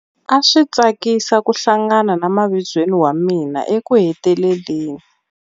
A swi tsakisa ku hlangana na mavizweni wa mina ekuheteleleni.